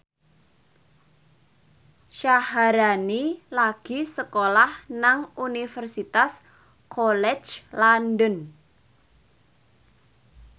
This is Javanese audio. Syaharani lagi sekolah nang Universitas College London